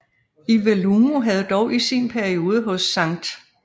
Iwelumo havde dog i sin periode hos St